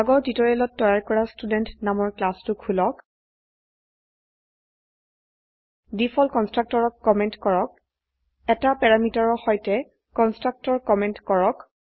আগৰ টিউটোৰিয়ালত তৈয়াৰ কৰা ষ্টুডেণ্ট নামৰ ক্লাসটো খুলক ডিফল্ট constructorত কমেন্ট কৰক 1টা প্যাৰামিটাৰৰ সৈতে কনষ্ট্ৰাক্টৰ কমেন্ট কৰক